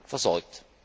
versorgt.